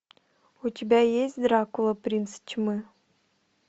у тебя есть дракула принц тьмы